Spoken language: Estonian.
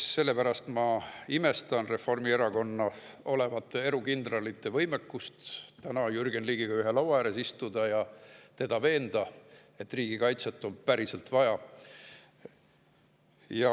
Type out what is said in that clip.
Sellepärast ma imestan Reformierakonnas olevate erukindralite võimekuse üle Jürgen Ligiga ühe laua ääres istuda ja teda veenda, et riigikaitset on päriselt vaja.